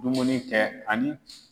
Dumuni kɛ ani.